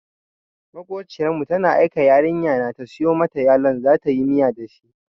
Maƙociyar mu ta aike yarinya na ta siyo mata yalon zatayi miya da shi.